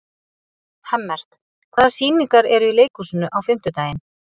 Hemmert, hvaða sýningar eru í leikhúsinu á fimmtudaginn?